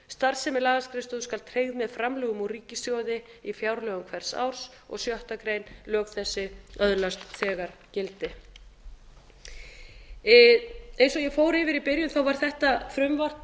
starfsemi lagaskrifstofu skal tryggð með framlögum úr ríkissjóði í fjárlögum hvers árs sjöttu grein lög þessi öðlast þegar gildi eins og ég fór yfir í byrjun var þetta frumvarp